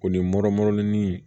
O ni